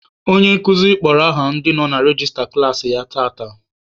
Onye nkuzi kpọrọ aha ndị nọ na rejista klaasị ya tata.